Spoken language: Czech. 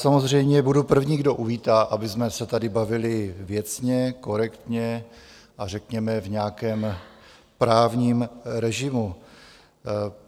Samozřejmě budu první, kdo uvítá, abychom se tady bavili věcně, korektně a řekněme v nějakém právním režimu.